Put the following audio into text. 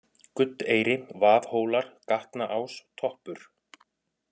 Guddeyri, Vaðhólar, Gatnaás, Toppur